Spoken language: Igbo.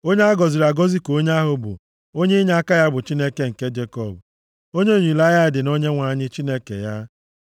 Onye a gọziri agọzi ka onye ahụ bụ, onye inyeaka ya bụ Chineke nke Jekọb, onye olileanya ya dị na Onyenwe anyị, Chineke ya.